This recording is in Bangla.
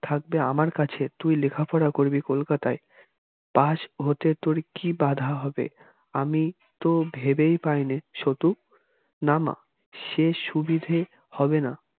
থাকবে আমার কাছে তুই লেখাপড়া করবি কলকাতায় পাশ হতে তোর কি বাধা হবে আমি তো ভেবে পাইনে সতু না মা সে সুবিধে হবে না